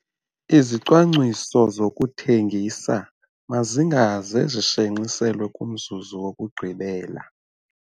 IZICWANGCISO ZOKUTHENGISA MAZINGAZE ZISHENXISELWE KUMZUZU WOKUGQIBELA